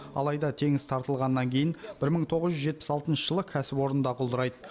алайда теңіз тартылғаннан кейін бір мың тоғыз жүз жетпіс алтыншы жылы кәсіпорын да құлдырайды